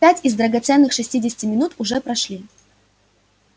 пять из драгоценных шестидесяти минут уже прошли